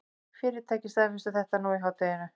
Fyrirtækin staðfestu þetta nú í hádeginu